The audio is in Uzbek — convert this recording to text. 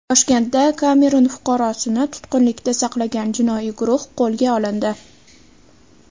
Toshkentda Kamerun fuqarosini tutqunlikda saqlagan jinoiy guruh qo‘lga olindi.